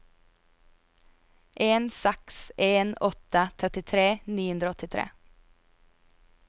en seks en åtte trettitre ni hundre og åttitre